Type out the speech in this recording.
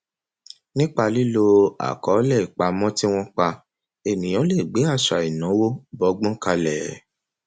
nípa lílo àkọọlẹ ìpamọ tí wọn pa ènìyàn lè gbé àṣà ìnáwó bọgbọn kalẹ